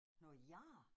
Noget gær?